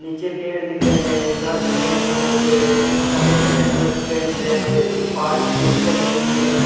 नीचे पेड़ दिख रहे है घर दिख रहे है छोटे-छोटे सफ़ेद-सफ़ेद कलर पेंट है पहाड़ की चोटिया दिख रही है।